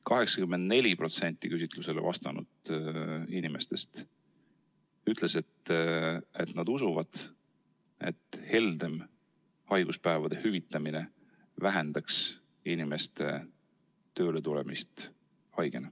84% küsitlusele vastanud inimestest ütles, et nad usuvad, et heldem haiguspäevade hüvitamine vähendaks inimeste haigena tööle tulemist.